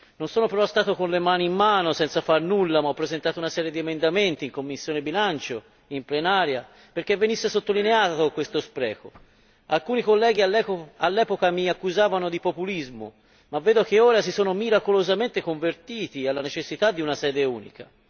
Non sono però stato con le mani in mano, senza far nulla, ma ho presentato una serie di emendamenti in commissione per i bilanci e in Aula, perché venisse sottolineato questo spreco. Alcuni colleghi che all'epoca mi accusavano di populismo si sono ora miracolosamente convertiti alla necessità di una sede unica.